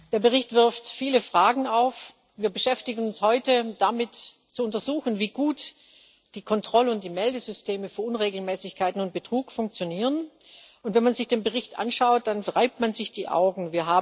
Der Bericht wirft viele Fragen auf. Wir beschäftigen uns heute damit, zu untersuchen, wie gut die Kontroll und Meldesysteme für Unregelmäßigkeiten und Betrug funktionieren, und wenn man sich dem Bericht anschaut, dann reibt man sich die Augen.